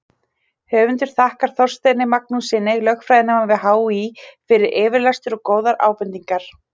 Höfundur þakkar Þorsteini Magnússyni, lögfræðinema við HÍ, fyrir yfirlestur og góðar ábendingar.